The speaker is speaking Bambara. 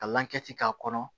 Ka lankisi k'a kɔnɔ